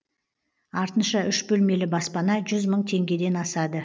артынша үш бөлмелі баспана жүз мың теңгеден асады